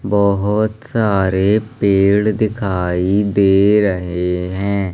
बहोत सारे पेड़ दिखाई दे रहे हैं।